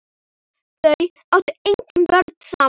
Þau áttu engin börn saman.